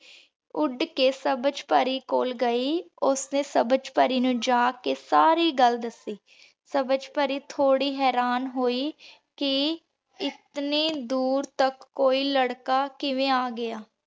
ਉੱਡ ਕੇ ਸਬਝ ਪਾਰੀ ਕੋਲ ਗਈ ਓਸ੍ਨੀ ਸਬਝ ਪਾਰੀ ਨੂ ਜਾ ਕੇ ਸਾਰੀ ਗਲ ਦਾਸੀ ਸਬਝ ਪਾਰੀ ਥੋਰੀ ਹੇਰਾਂ ਹੋਈ ਕੀ ਇਤਨੀ ਦੂਰ ਤਕ ਏਇਕ ਲਰਕਾ ਕਿਵੇਂ ਆਗਯਾ